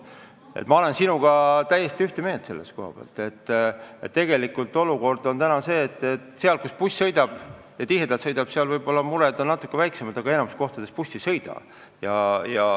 Ma olen sinuga täiesti ühte meelt, et tegelikult olukord on selline, et seal, kus buss tihedalt sõidab, on võib-olla mured natuke väiksemad, aga enamikus kohtades buss ei sõida.